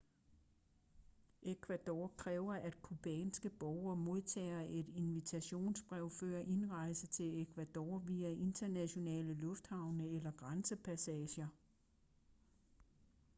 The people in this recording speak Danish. ecuador kræver at cubanske borgere modtager et invitationsbrev før indrejse til ecuador via internationale lufthavne eller grænsepassager